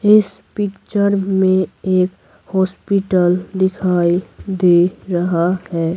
इस पिक्चर में एक हॉस्पिटल दिखाई दे रहा है।